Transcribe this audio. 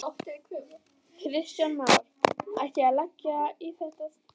Kristján Már: Ætti ég að leggja í þetta sterka?